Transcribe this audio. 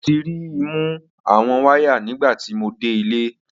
Mo ti ri i mu awọn waya nigbati mo de ile.